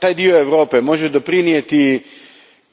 Taj dio Europe može doprinijeti